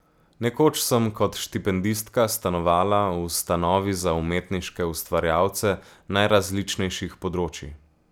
Nekoč sem kot štipendistka stanovala v ustanovi za umetniške ustvarjalce najrazličnejših področij.